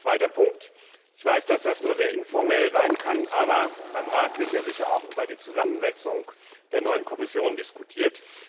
Ein zweiter Punkt Ich weiß, dass das nur in einem sehr informellen Rahmen geschieht, aber beim Rat wird ja sicher auch über die Zusammensetzung der neuen Kommission diskutiert.